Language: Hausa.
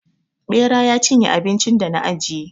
Ɓera ya cinye abincin da na ajiye.